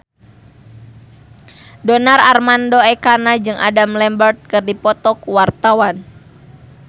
Donar Armando Ekana jeung Adam Lambert keur dipoto ku wartawan